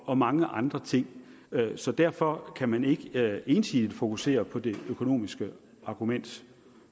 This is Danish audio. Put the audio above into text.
og mange andre ting så derfor kan man ikke ensidigt fokusere på det økonomiske argument